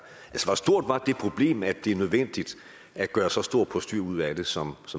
hvor stor var det problem og er det nødvendigt at gøre et så stort postyr ud af det som